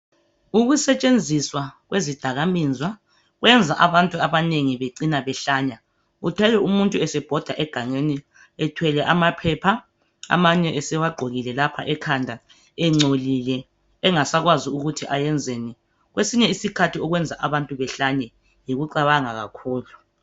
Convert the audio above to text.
Ukusetshenziswa kwezidakamizwa kwenza abantu abanengi becina behlanya, uthole umuntu esebhoda egangeni ethwele amaphepha amanye esewagqokile laoha ekhanda, engcolile engasakwazi ukuthi ayenzeni. Kwesinye isikhathi okwenza abantu behlanye yikucabanga kakhulu.